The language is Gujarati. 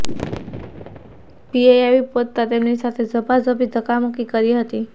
પીઆઇ આવી પહોંચતા તેમની સાથે ઝપાઝપી અને ધક્કામુક્કી કરી હતી